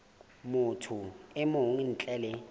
motho e mong ntle le